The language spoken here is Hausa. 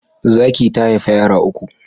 Zaki ta haifa yara uku